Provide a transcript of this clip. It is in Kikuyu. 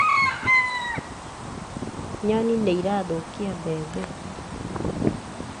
Nyoni nĩ irathũkia mbembe.